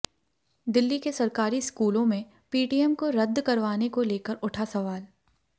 दिल्ली के सरकारी स्कूलों में पीटीएम को रद्द करवाने को लेकर उठा सवाल